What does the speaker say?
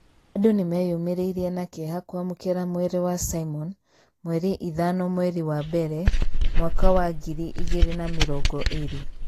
Andu nĩmeyũmĩrĩrie na kĩeha kwamũkĩra mwĩrĩ wa Simon ,mweri ithano mwerĩ wa mbere mwaka wa ngiri igĩri na mĩrongo ĩrĩ